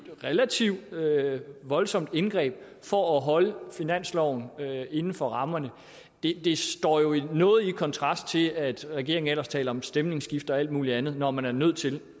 relativt voldsomt indgreb for at holde finansloven inden for rammerne det står jo noget i kontrast til at regeringen ellers taler om stemningsskifte og alt muligt andet når man er nødt til